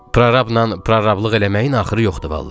Prorabla prorablıq eləməyin axırı yoxdur vallah.